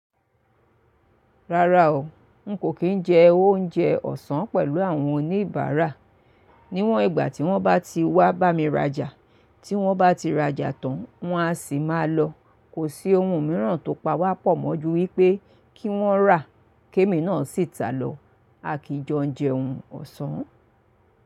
Rárá o, n kò kì í jẹ oúnjẹ ọ̀sán pẹ̀lú àwọn oníbàárà. Níwọn ìgbà tí wọ́n bá ti wá bá mi rajà, tí wọ́n bá ti rajà tán, wọ́n a sì máa lọ. Kò sí ohun mìíràn tó pa wá pọ̀ mọ́ ju wípé kí wọ́n rà, kí èmi náà sì tà lọ. A kì í jọ jẹ oúnjẹ ọ̀sán.